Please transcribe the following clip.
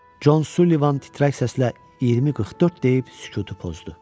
Con Sulli titrək səslə 20:44 deyib sükutu pozdu.